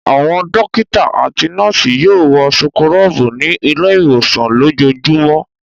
Àwọn dọ́kítá àti àwọn nọ́ọ́sì yóò wọ súkúrọ́bù ní ilé-ìwòsàn lójoojúmọ́.